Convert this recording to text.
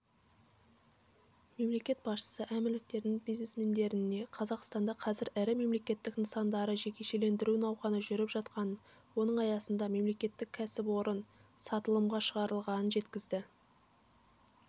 мемлекет басшысы әмірліктердің бизнесмендеріне қазақстанда қазір ірі мемлекеттік нысандарды жекешелендіру науқаны жүріп жатқанын оның аясында мемлекеттік кәсіпорын сатылымға шығарылғанын жеткізді